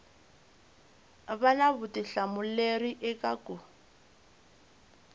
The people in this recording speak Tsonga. va na vutihlamuleri eka ku